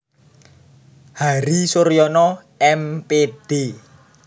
Hari Suryono M Pd